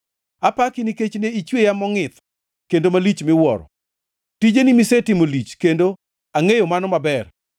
Apaki nikech ne ichweya mongʼith kendo malich miwuoro; tijeni misetimo lich, kendo angʼeyo mano maber.